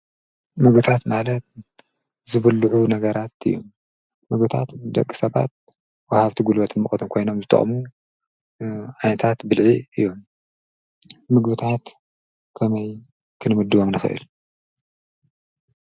ምግብታት ማለት ዝብልዑ ነገራት እዩ፡፡ ምግብታት ደቂ ሰባት ወሃብቲ ጉልበትን ሙቐትን ኮይኖም ዝጠቕሙ ዓይነታት ብልዒ እዮም፡፡ ምግብታት ከመይ ክንምድቦም ንኽእል?